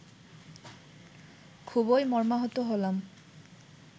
খুবই মর্মাহত হলাম